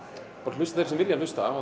hlusta þeir sem vilja hlusta